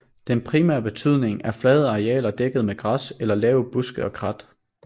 Den primære betydning er flade arealer dækket med græs eller lave buske og krat